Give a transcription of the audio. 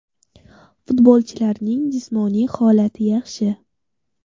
Futbolchilarning jismoniy holati yaxshi.